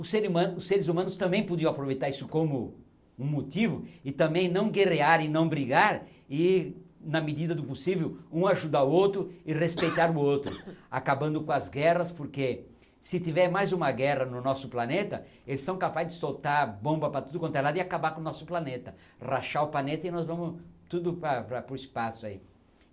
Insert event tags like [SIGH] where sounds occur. O ser humano os seres humanos também podiam aproveitar isso como um motivo e também não guerrear e não brigar e, na medida do possível, um ajudar o outro e respeitar [COUGHS] o outro, acabando com as guerras, porque se tiver mais uma guerra no nosso planeta, eles são capazes de soltar bomba para tudo quanto é lado e acabar com o nosso planeta, rachar o planeta e nós vamos tudo pa para o espaço aí.